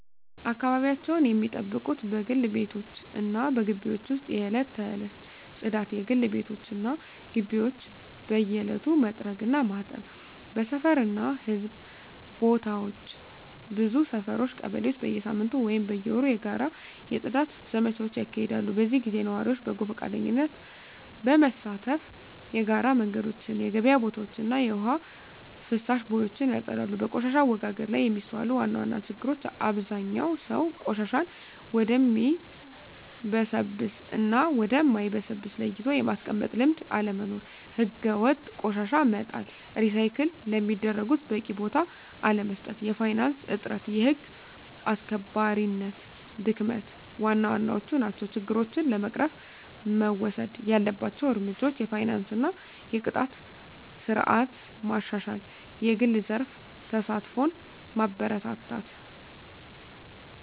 አካባቢያቸውን ሚጠብቁት በግል ቤቶች እና በግቢዎች ውስጥ የዕለት ተዕለት ጽዳት: የግል ቤቶች እና ግቢዎች በየዕለቱ መጥረግ እና ማጠብ። በሰፈር እና በሕዝብ ቦታዎች ብዙ ሰፈሮች (ቀበሌዎች) በየሳምንቱ ወይም በየወሩ የጋራ የጽዳት ዘመቻዎች ያካሂዳሉ። በዚህ ጊዜ ነዋሪዎች በጎ ፈቃደኝነት በመሳተፍ የጋራ መንገዶችን፣ የገበያ ቦታዎችን እና የውሃ ፍሳሽ ቦዮችን ያጸዳሉ። በቆሻሻ አወጋገድ ላይ የሚስተዋሉ ዋና ዋና ችግሮች አብዛኛው ሰው ቆሻሻን ወደሚበሰብስ እና ወደ ማይበሰብስ ለይቶ የማስቀመጥ ልምድ አለመኖር። ሕገወጥ ቆሻሻ መጣል፣ ሪሳይክል ለሚደረጉት በቂ ቦታ አለመስጠት፣ የፋይናንስ እጥረት፣ የህግ አስከባሪነት ድክመት ዋና ዋናዎቹ ናቸው። ችግሮችን ለመቅረፍ መወሰድ ያለባቸው እርምጃዎች የፋይናንስ እና የቅጣት ስርዓት ማሻሻል፣ የግል ዘርፍ ተሳትፎን ማበረታታት፣ …